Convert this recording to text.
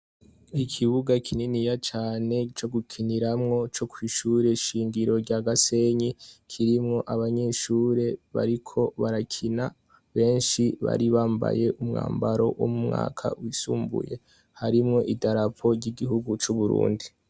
Ikibuga kininiya cane co gukiniraho co mwishure shingiro rya Gasenyi kirimwo abanyeshure bariko barakina benshi bari bambaye umwambaro wo mumwaka wisumbuye harimwo idarapo ry'igihugu c'Uburundi.